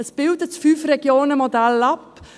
Es bildet das Fünf-Regionen-Modell ab.